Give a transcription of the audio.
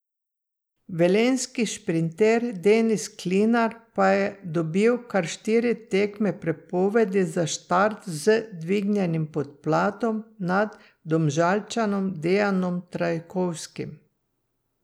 Velenjski šprinter Denis Klinar pa je dobil kar štiri tekme prepovedi za štart z dvignjenim podplatom nad Domžalčanom Dejanom Trajkovskim.